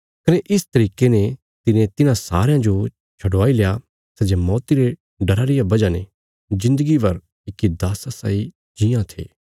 कने इस तरिके ने तिने तिन्हां सारयां जो छडवाईल्या सै जे मौती रे डरा रिया वजह ने जिन्दगी भर इक्की दास्सा साई जीआं थे